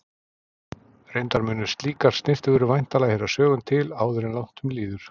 Reyndar munu slíkar snyrtivörur væntanlega heyra sögunni til áður en langt um líður.